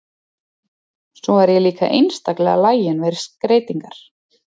Svo er ég líka einstaklega lagin við skreytingar.